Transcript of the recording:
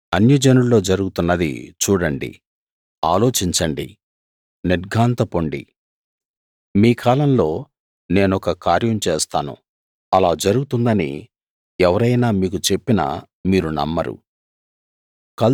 అన్యజనుల్లో జరుగుతున్నది చూడండి ఆలోచించండి నిర్ఘాంతపొండి మీ కాలంలో నేనొక కార్యం చేస్తాను అలా జరుగుతుందని ఎవరైనా మీకు చెప్పినా మీరు నమ్మరు